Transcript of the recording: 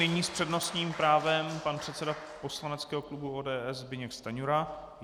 Nyní s přednostní právem pan předseda poslaneckého klubu ODS Zbyněk Stanjura.